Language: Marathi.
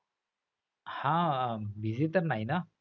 हा busy तर नाही ना?